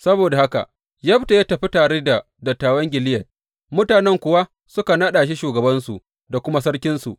Saboda haka Yefta ya tafi tare da dattawan Gileyad, mutanen kuwa suka naɗa shi shugabansu da kuma sarkinsu.